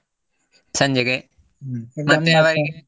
ಸಂಜೆಗೆ .